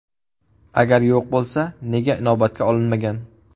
Agar yo‘q bo‘lsa, nega inobatga olinmagan?